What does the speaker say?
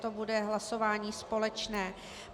To bude hlasování společné.